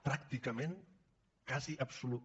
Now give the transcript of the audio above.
pràcticament quasi absolut